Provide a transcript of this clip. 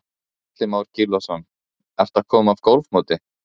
Atli Már Gylfason: Ertu að koma af golfmóti?